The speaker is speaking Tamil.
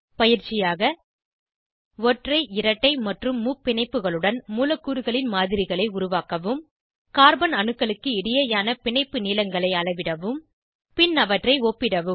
பயிற்சியாக ஒற்றை இரட்டை மற்றும் முப்பிணைப்புகளுடன் மூலக்கூறுகளின் மாதிரிகளை உருவாக்கவும் கார்பன் அணுக்களுக்கு இடையேயான பிணைப்பு நீளங்களை அளவிடவும் பின் அவற்றை ஒப்பிடவும்